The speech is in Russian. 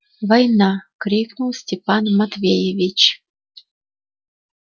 война крикнул степан матвеевич